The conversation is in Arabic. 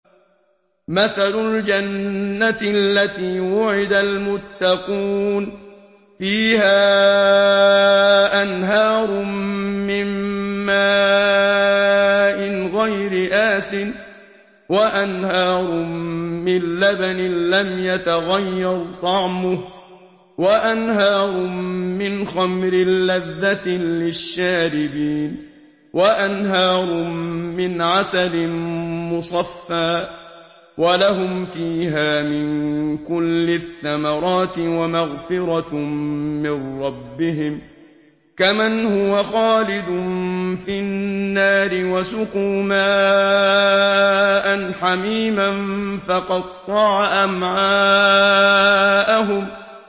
مَّثَلُ الْجَنَّةِ الَّتِي وُعِدَ الْمُتَّقُونَ ۖ فِيهَا أَنْهَارٌ مِّن مَّاءٍ غَيْرِ آسِنٍ وَأَنْهَارٌ مِّن لَّبَنٍ لَّمْ يَتَغَيَّرْ طَعْمُهُ وَأَنْهَارٌ مِّنْ خَمْرٍ لَّذَّةٍ لِّلشَّارِبِينَ وَأَنْهَارٌ مِّنْ عَسَلٍ مُّصَفًّى ۖ وَلَهُمْ فِيهَا مِن كُلِّ الثَّمَرَاتِ وَمَغْفِرَةٌ مِّن رَّبِّهِمْ ۖ كَمَنْ هُوَ خَالِدٌ فِي النَّارِ وَسُقُوا مَاءً حَمِيمًا فَقَطَّعَ أَمْعَاءَهُمْ